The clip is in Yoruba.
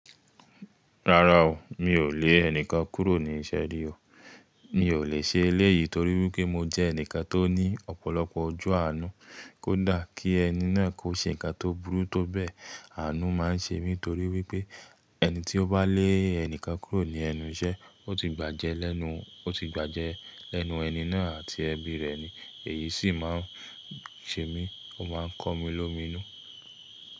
Rárá o, mi ò lè ẹni kan kúrò ní iṣẹ́ rí o. Mi ò lè ṣe eléyìí torí wípé mo jẹ́ ẹnìkan tó ní ọ̀pọ̀lọpọ̀ ọju àánú. Kó dà kí ẹni náà kó ṣe nǹkan tó burú tó bẹ́ẹ̀, àánú máa ń ṣe mí torí wípé ẹni tí ó bá lé ẹnì kan kúrò ní ẹnu iṣẹ́, ó ti gbàjẹ́ lẹ́nu, ó ti gbàjẹ́ lẹ́nu ẹni náà àti ẹbí rẹ̀ ni. Èyí sì máa ń ṣe mí, ó máa ń kọ́ mi lómìnu.